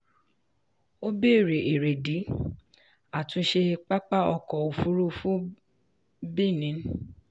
ó béèrè èrèdí àtúnṣe pápá ọkọ̀ òfurufú benin.